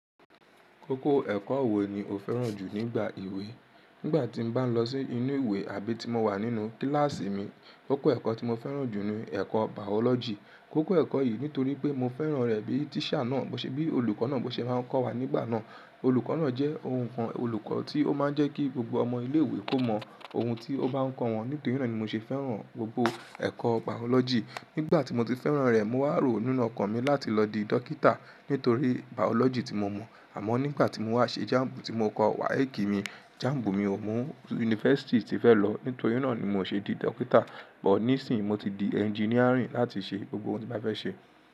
Kókó ẹ̀kọ́ wo ni o fẹ́ràn jù nígbà ìwé? Nígbà tí mo bá ń lọ sí inú ìwé àbí tí mo wà nínú kíláàsì mi, kókó ẹ̀kọ́ tí mo fẹ́ràn jù ni ẹ̀kọ́ bàọ́lọ́jì. Kókó ẹ̀kọ́ yìí nítorí pé mo fẹ́ràn rẹ̀ bí tíṣà náà, bó ṣe bí olùkọ́ náà bó ṣe bá ń kọ́ wa nígbà náà. Olùkọ́ náà jẹ́ ohun kan olùkọ́ tí ó máa ń jẹ́ kí gbogbo ọmọ ilé ìwé kó mọ ohun tí ó bá ń kọ́ wọn. Nítorí náà ni mo ṣe fẹ́ràn gbogbo ẹ̀kọ́ biology. Nígbà tí mo ti fẹ́ràn rẹ̀, mo wá rò nínú ọkàn mi láti lọ di dókítà nítorí biology tí mo mọ̀. Àmọ́ nígbà tí mo wá ṣe jámbù tí mo kọ WAEC mi, jámbù mi ò mú yunifásítì tí fẹ́ lọ. Nítorí náà ni mo ṣe di dókítà. Bọ̀ níìsín, mo ti di engineering láti ṣe gbogbo ohun tí mo fẹ́ ṣe.